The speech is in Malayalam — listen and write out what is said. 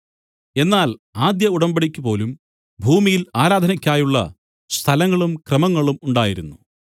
എന്നാൽ ആദ്യ ഉടമ്പടിക്കു പോലും ഭൂമിയിൽ ആരാധനയ്ക്കായുള്ള സ്ഥലങ്ങളും ക്രമങ്ങളും ഉണ്ടായിരുന്നു